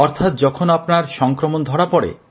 অর্থাৎ যখন আপনার সংক্রমণ ধরা পড়ে